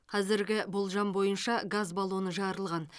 қазіргі болжам бойынша газ баллоны жарылған